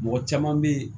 Mɔgɔ caman bɛ yen